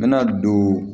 N bɛna don